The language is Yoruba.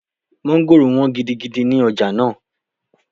Mọ́ngòrò wọ́n gidigidi ní ọjà náà